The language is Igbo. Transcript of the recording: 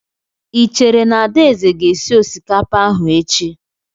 I chere na Adaeze ga-esi osikapa ahụ echi?